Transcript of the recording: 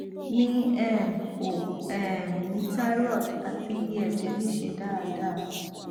mi um o um ni thyroid ati iye eje mi se daadaa